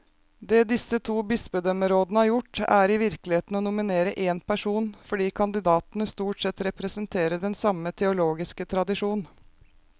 Det disse to bispedømmerådene har gjort, er i virkeligheten å nominere én person, fordi kandidatene stort sett representerer den samme teologiske tradisjon.